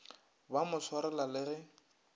ba mo swarela le ge